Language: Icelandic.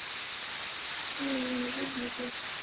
Gloría, mun rigna í dag?